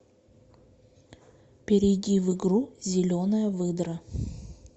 перейди в игру зеленая выдра